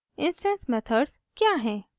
instance methods क्या हैं